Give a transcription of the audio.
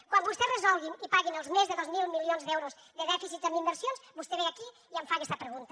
quan vostès resolguin i paguin els més de dos mil milions d’euros de dèficit en inversions vostè ve aquí i em fa aquesta pregunta